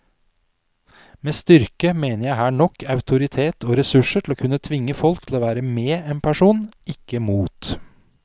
Med styrke mener jeg her nok autoritet og ressurser til å kunne tvinge folk til å være med en person, ikke mot.